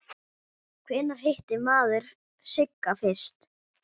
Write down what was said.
Hvenær hitti maður Sigga fyrst?